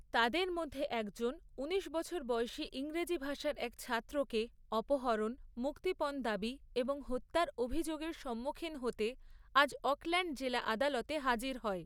তাদের মধ্যে একজন ঊনিশ বছর বয়সী ইংরেজি ভাষার এক ছাত্রকে অপহরণ, মুক্তিপণ দাবি এবং হত্যার অভিযোগের সম্মুখীন হতে আজ অকল্যান্ড জেলা আদালতে হাজির হয়৷